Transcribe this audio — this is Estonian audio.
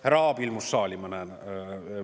Härra Aab ilmus saali, ma näen.